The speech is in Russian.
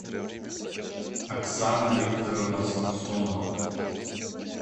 оксана викторовна самсонова